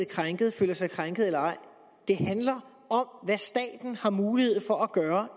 krænkede føler sig krænkede eller ej det handler om hvad staten har mulighed for at gøre